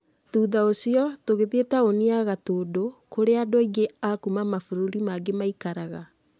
Thutha ũcio, tũgĩthiĩ taũni ya Gatũndũ, kũrĩa andũ aingĩ akuuma mabũrũri mangi ̃maikaraga.